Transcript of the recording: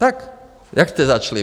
Takže jak jste začali?